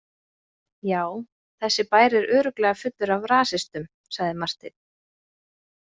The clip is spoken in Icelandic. Já, þessi bær er örugglega fullur af rasistum, sagði Marteinn.